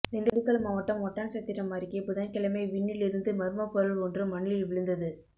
திண்டுக்கல் மாவட்டம் ஒட்டன்சத்திரம் அருகே புதன்கிழமை விண்ணி லிருந்து மர்மப் பொருள் ஒன்று மண்ணில் விழுந்தது